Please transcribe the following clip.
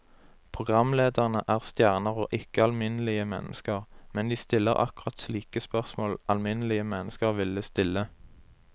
Programlederne er stjerner og ikke alminnelige mennesker, men de stiller akkurat slike spørsmål alminnelige mennesker ville stille.